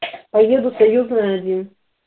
поеду союзная один